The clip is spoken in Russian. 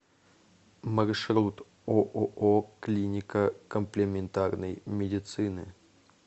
маршрут ооо клиника комплементарной медицины